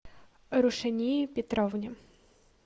рушании петровне